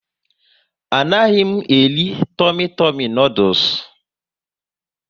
A naghị m eri Tumi Tumi noodules